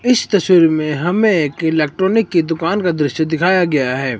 इस तस्वीर में हमें एक इलेक्ट्रॉनिक की दुकान का दृश्य दिखाया गया है।